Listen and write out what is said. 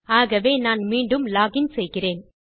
ஆகவே நான் மீண்டும் லாக் இன் செய்கிறேன்